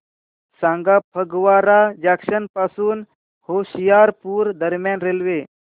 सांगा फगवारा जंक्शन पासून होशियारपुर दरम्यान रेल्वे